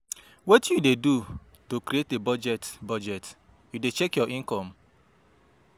wetin you dey do to create a budget, budget, you dey check your income?